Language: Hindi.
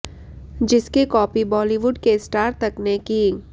जिसकी कॉपी बॉलिवुड के स्टार तक ने की